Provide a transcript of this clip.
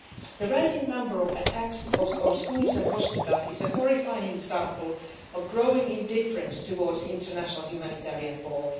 The rising number of attacks on schools and hospitals is a horrifying example of growing indifference to international humanitarian law.